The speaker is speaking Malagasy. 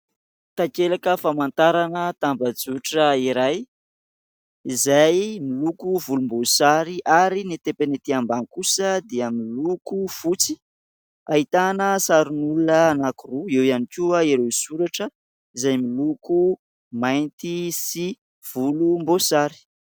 Takelaka famantarana tambazotra iray izay miloko volomboasary ary ny tepany ety ambany kosa dia miloko fotsy, ahitana sarin'olona anankiroa eo ihany koa ireo soratra izay miloko mainty sy volomboasary.